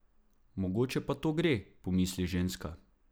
Mogoče pa to gre, pomisli ženska.